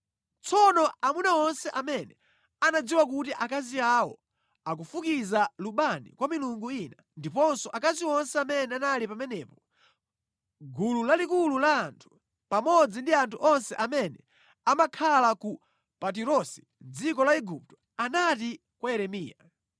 Tsono amuna onse amene anadziwa kuti akazi awo ankafukiza lubani kwa milungu ina, ndiponso akazi onse amene anali pamenepo, gulu lalikulu la anthu, pamodzi ndi anthu onse amene amakhala ku Patirosi mʼdziko la Igupto, anati kwa Yeremiya,